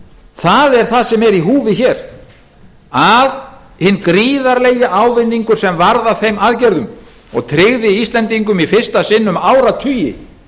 það er það sem er í húfi hér að hinn gríðarlegi ávinningur sem varð af þeim aðgerðum og tryggði íslendingum í fyrsta sinn um áratugi